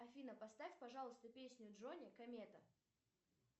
афина поставь пожалуйста песню джони комета